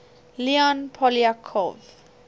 leon poliakov